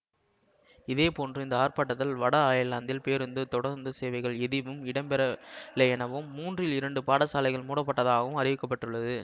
இதேபோன்று இந்த ஆர்ப்பாட்டத்தால் வட அயர்லாந்தில் பேருந்து தொடருந்து சேவைகள் எதுவிம் இடம்பெறவில்லை எனவும் மூன்றில் இரண்டு பாடசாலைகள் மூடப்பட்டதாகவும் அறிவிக்க பட்டுள்ளது